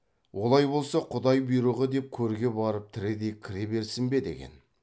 олай болса құдай бұйрығы деп көрге барып тірідей кіре берсін бе деген